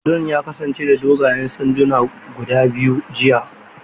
Dodon ya kasance da dogayen sanduna guda biyu jiya.